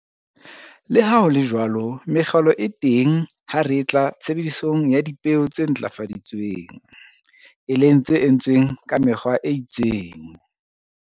Le ha ho le jwalo mekgelo e teng ha re etla tshebedisong ya dipeo tse ntlafaditsweng, e leng tse entsweng ka mekgwa e itseng.